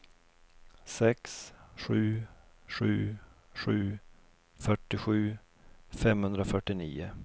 sex sju sju sju fyrtiosju femhundrafyrtionio